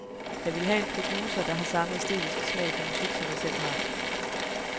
Jeg ville have en producer, der har samme æstetiske smag for musik, som jeg selv har.